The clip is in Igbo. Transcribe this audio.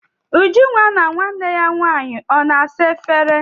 Ujunwa na nwanne ya nwaanyị ọ na-asa efere?